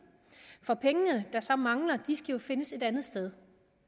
for pengene der så mangler skal jo findes et andet sted